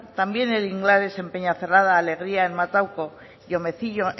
también en inglares en peñacerrada alegria en matauco y en omecillo